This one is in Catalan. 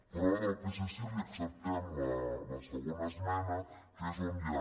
però del psc li acceptem la segona esmena que és on ja